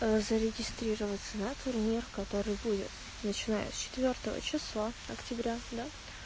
зарегистрироваться на турнир который будет начиная с четвёртого числа октября да